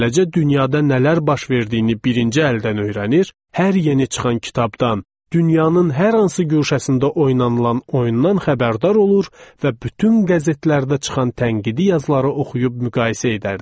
Beləcə dünyada nələr baş verdiyini birinci əldən öyrənir, hər yeni çıxan kitabdan, dünyanın hər hansı guşəsində oynanılan oyundan xəbərdar olur və bütün qəzetlərdə çıxan tənqidi yazıları oxuyub müqayisə edərdik.